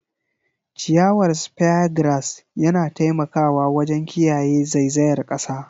Ciyawar Speargrass yana taimakawa wajen kiyaye zaizayar kasa.